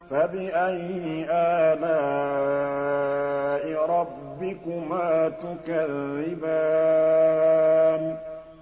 فَبِأَيِّ آلَاءِ رَبِّكُمَا تُكَذِّبَانِ